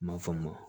M'a faamu